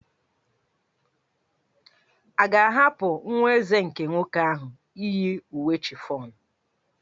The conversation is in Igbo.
A ga-ahapụ nwa Eze nke nwoke ahụ iyi uwe chiffon?